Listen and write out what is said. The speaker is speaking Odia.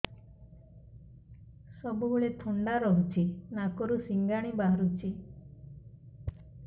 ସବୁବେଳେ ଥଣ୍ଡା ରହୁଛି ନାକରୁ ସିଙ୍ଗାଣି ବାହାରୁଚି